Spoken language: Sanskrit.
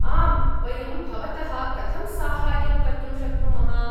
आम्, वयं भवतः कथं साहाय्यं कर्तुं शक्नुमः?